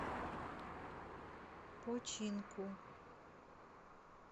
починку